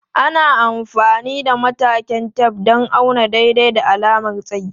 Ana amfani da matakan tef don auna daidai da alamar tsayi.